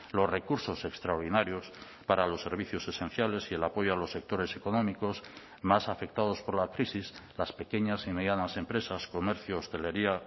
los recursos extraordinarios para los servicios esenciales y el apoyo a los sectores económicos más afectados por la crisis las pequeñas y medianas empresas comercio hostelería